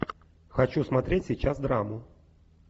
хочу смотреть сейчас драму